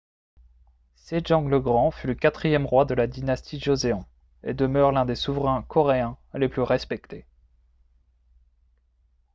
sejong le grand fut le quatrième roi de la dynastie joseon et demeure l'un des souverains coréens les plus respectés